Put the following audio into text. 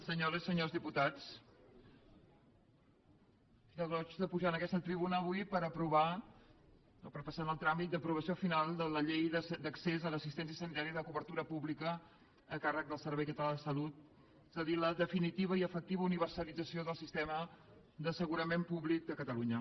senyores i senyors diputats fa goig pujar en aquesta tribuna avui per aprovar o per passar el tràmit d’aprovació final de la llei d’accés a l’assistència sanitària de cobertura pública a càrrec del servei català de la salut és a dir la definitiva i efectiva universalització del sistema d’assegurament públic de catalunya